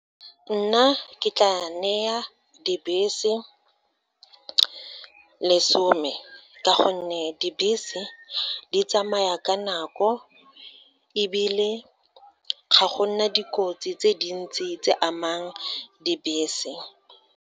Nna ke tla neya dibese lesome, ka gonne dibese di tsamaya ka nako ebile ga go nna dikotsi tse dintsi tse amang dibese.